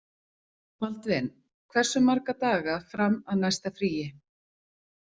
Baldvin, hversu marga daga fram að næsta fríi?